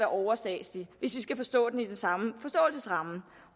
overstatsligt hvis vi skal forstå den i den samme forståelsesramme